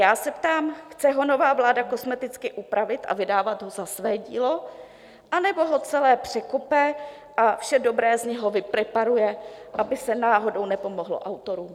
Já se ptám, chce ho nová vláda kosmeticky upravit a vydávat ho za své dílo, anebo ho celé překope a vše dobré z něho vypreparuje, aby se náhodou nepomohlo autorům?